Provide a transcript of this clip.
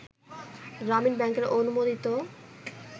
গ্রামীণ ব্যাংকের অনুমোদিত